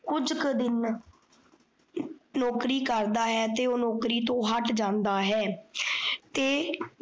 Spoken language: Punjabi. ਕੁੱਝਕ ਦਿਨ ਨੋਕਰੀ ਕਰਦਾ ਹੈ ਤੇ ਓਹ ਨੋਕਰੀ ਤੋਂ ਹੱਟ ਜਾਂਦਾ ਹੈ। ਤੇ